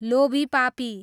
लोभीपापी